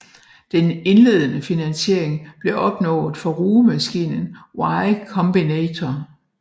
Den indledende finansiering blev opnået fra rugemaskinen Y Combinator